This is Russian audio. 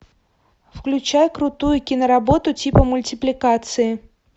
включай крутую киноработу типа мультипликации